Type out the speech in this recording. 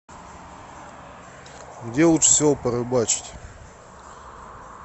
где лучше всего порыбачить